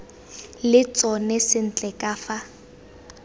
le tsona sentle ka fa